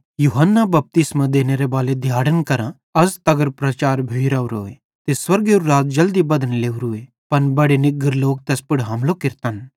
यूहन्ना बपतिस्मो देनेबालेरे दिहाड़न करां अज़ तगर प्रचार भोइ रावरोए ते स्वर्गेरू राज़ जल्दी बधने लोरूए पन बड़े निग्गर लोक तैस पुड़ हमलो केरतन